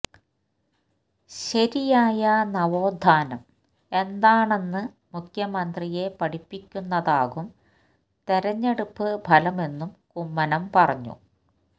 ശരിയായ നവോത്ഥാനം എന്താണെന്ന് മുഖ്യമന്ത്രിയെ പഠിപ്പിക്കുന്നതാകും തിരഞ്ഞെടുപ്പ് ഫലമെന്നും കുമ്മനം പറഞ്ഞു